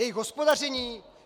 Jejich hospodaření?